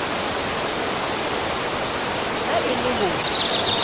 ha e le ho re